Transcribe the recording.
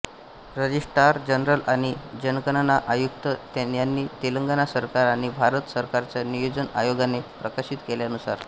registrar general आणि जनगणना आयुक्त यांनी तेलंगण सरकार आणि भारत सरकारच्या नियोजन आयोगाने प्रकाशित केल्यानुसार